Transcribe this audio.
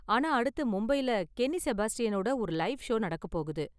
ஆனா அடுத்து மும்பைல கென்னி செபாஸ்டியனோட ஒரு லைவ் ஷோ நடக்கப் போகுது.